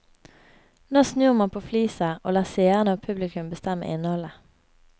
Nå snur man på flisa, og lar seere og publikum bestemme innholdet.